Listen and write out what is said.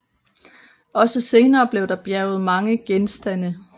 Også senere blev der bjerget mange genstande